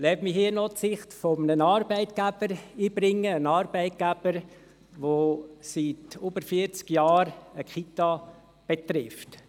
Lassen Sie mich hier noch die Sicht eines Arbeitgebers einbringen, der seit über vierzig Jahren eine Kita betreibt.